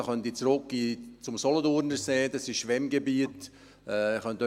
Da könnte ich zurückgehen zum Solothurnersee, das sind Schwemmgebiete.